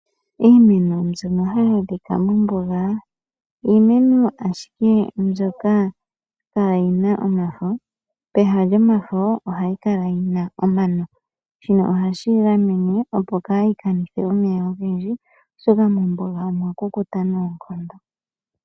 Iimeno mbyono hayadhika mombunga iimeno ashike mbyoka kayina omafo peha lyomafo ohayikala yina omano shino ohashi gamene opo kayikanithe omeya ogendji oshoka mombunga omwa kukuta nonkondo